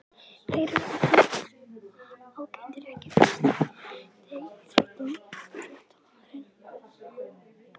Þeir eru allir ágætir EKKI besti íþróttafréttamaðurinn?